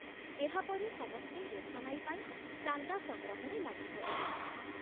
ଏହାପରେ ସମସ୍ତେ ରୋଶନାଇ ପାଇଁ ଚାନ୍ଦା ସଂଗ୍ରହରେ ଲାଗିପଡ଼ିଲେ।